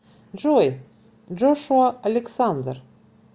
джой джошуа александр